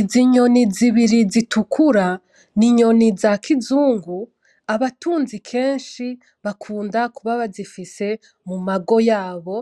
Izi nyoni zibiri zitukura, n’inyoni za kizungu. Abatunzi kenshi bakunda kuba bazifise mu mago yabo,